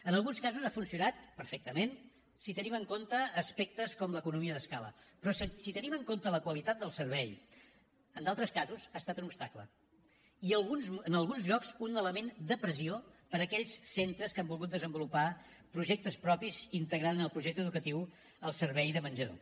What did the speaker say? en alguns casos ha funcionat perfectament si tenim en compte aspectes com l’economia d’escala però si tenim en compte la qualitat del servei en d’altres casos ha estat un obstacle i en alguns llocs un element de pressió per a aquells centres que han volgut desenvolupar projectes propis i integrar en el projecte educatiu el servei de menjador